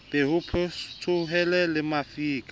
be ho petsohe le mafika